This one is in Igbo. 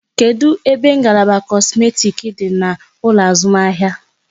Kedụ ebe ngalaba kosmetik dị n'ụlọ azụmahịa?